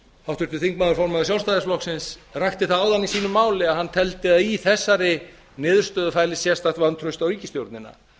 háttvirtur þingmaður formaður sjálfstæðisflokksins rakti það áðan í sínu máli að hann teldi að í þessari niðurstöðu fælist sérstakt vantraust á ríkisstjórnina